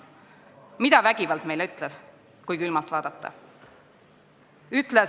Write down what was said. Mida see vägivald meile ütleb, kui külmalt vaadata?